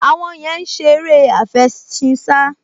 Àwọn yẹn ń ṣe eré àfẹṣinsá